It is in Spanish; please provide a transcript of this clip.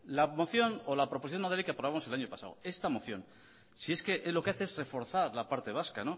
la moción o la proposición no de ley que aprobamos el año pasado esta moción si es que lo que hace es reforzar la parte vasca